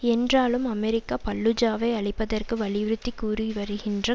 என்றாலும் அமெரிக்கா பல்லூஜாவை அழிப்பதற்கு வலியுறுத்தி கூறிவருகின்ற